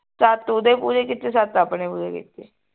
ਸੱਤ ਓਹਦੇ ਪੂਰੇ ਕੀਤੇ ਸੱਤ ਆਪਣੇ ਪੂਰੇ ਕੀਤੇ